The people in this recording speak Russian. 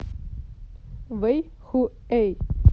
вэйхуэй